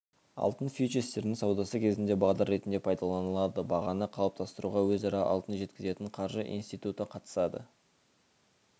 алтын фьючерстерінің саудасы кезінде бағдар ретінде пайдаланылады бағаны қалыптастыруға өзара алтын жеткізетін қаржы институты қатысады